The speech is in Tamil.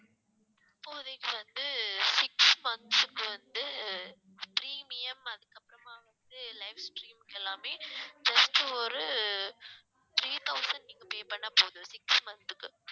இப்போதைக்கு வந்து six months க்கு வந்து premium அதுக்கு அப்புறமா வந்து livestreams எல்லாமே just ஒரு three thousand நீங்க pay பண்ணா போதும் six month க்கு